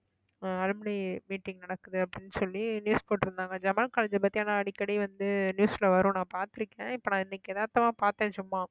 ஆஹ் alumni meeting நடக்குது அப்படின்னு சொல்லி news போட்டிருந்தாங்க ஜமால் காலேஜை பத்தி ஆனா அடிக்கடி வந்து news ல வரும் நான் பார்த்திருக்கேன் இப்ப நான் இன்னைக்கு எதார்த்தமா பார்த்தேன் சும்மா